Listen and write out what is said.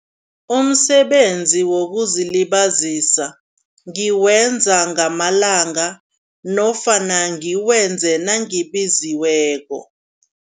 Umsebenzi wokuzilibazisa, ngiwenza ngamalanga nofana ngiwenze nangibiziweko.